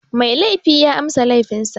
Mai laifi ya amsa laifin sa.